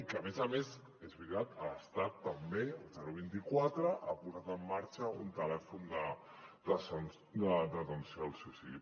i que a més a més és veritat l’estat també el vint quatre ha posat en marxa un telèfon d’atenció al suïcidi